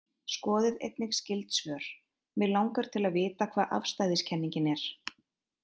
Skoðið einnig skyld svör: Mig langar til að vita hvað afstæðiskenningin er.